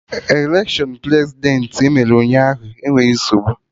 Electiọnụ Prezidentị emere Ụnyaahụ enweghị nsogbu